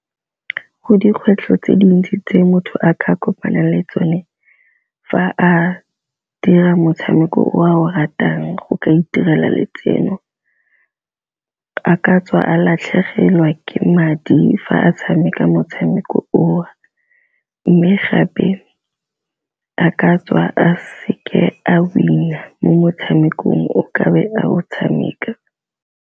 Dikgwetlho tse dintsi tse motho a ka kopana le tsone fa a dira motshameko o a o ratang go ka itirela letseno a ka tswa a latlhelwa fela ke madi fa a tshameka motshameko o o, mme gape a ka tswa a seke a winner mo motshamekong o ka be a go tshameka.